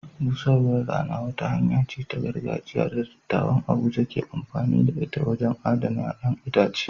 Busarwar rana wata hanya ce ta gargajiya da dattawan Abuja ke amfani da ita wajen adana ƴaƴan itace.